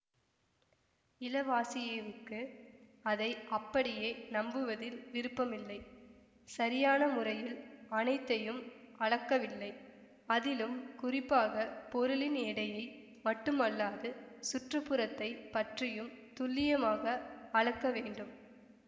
இலவாசியேவுக்கு அதை அப்படியே நம்புவதில் விருப்பமில்லை சரியான முறையில் அனைத்தையும் அளக்கவில்லை அதிலும் குறிப்பாக பொருளின் எடையை மட்டுமல்லாது சுற்றுப்புறத்தைப் பற்றியும் துல்லியமாக அளக்க வேண்டும்